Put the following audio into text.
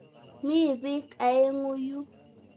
Mi piik aeng'u yu.